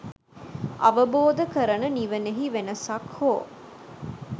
අවබෝධ කරන නිවනෙහි වෙනසක් හෝ